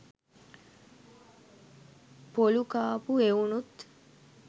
පොලු කාපු එවුනුත්